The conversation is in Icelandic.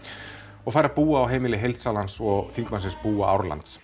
og fær að búa á heimili heildsalans og þingmannsins búa